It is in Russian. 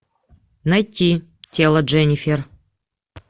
найти тело дженнифер